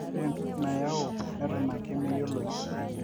ore entoki nayau neton ake meyioloi